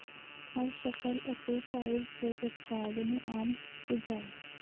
ਹਰ ਸ਼ਕਲ ਅਤੇ ਸਾਈਜ਼ ਦੇ ਉਤਪਾਦ ਨੂੰ ਆਮ ਸੁਝਾਅ